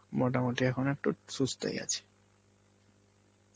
মোটামুটি এখন একটু সুস্থই আছে.